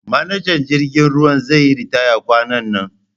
manajan jirgin ruwa zeyi ritaya kwanan nan